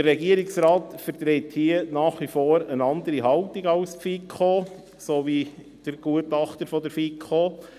Der Regierungsrat vertritt hier nach wie vor eine andere Haltung als die FiKo sowie der Gutachter der FiKo.